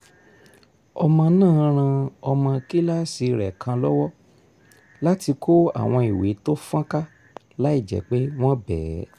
ọmọ náà ran ọmọ kíláàsì rẹ̀ kan lọ́wọ́ láti kó àwọn ìwé tó fọ́ńká láìjẹ́ pé wọ́n bẹ́ẹ̀